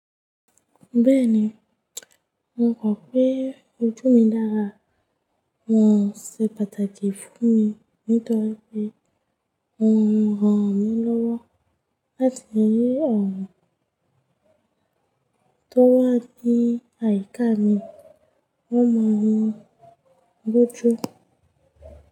Bẹ́ẹ̀ni, mo kọ̀ pé ojú mi dára, wọn ò ṣe pàtàkì fún mi nítorí pé wọn o ràn mí lọ́wọ́ láti lè rí àwọn tó wà ní àyíká mi, wọ́n mọ̀ mi lójú.